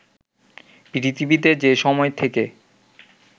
পৃথিবীতে যে সময় থেকে